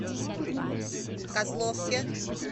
козловке